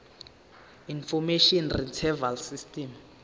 information retrieval system